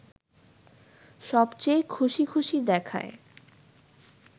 সবচেয়ে খুশি খুশি দেখায়